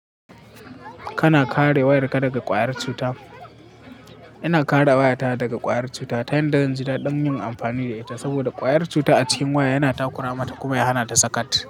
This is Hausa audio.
Kana kare wayarka daga ƙwayar cuta. Ina kare wayata daga ƙwayar cuta ta yadda dadin yin amfani da ita saboda ƙwayar cuta a cikin waya yana takura mata kuma ya hana ta sakat.